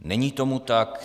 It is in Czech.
Není tomu tak.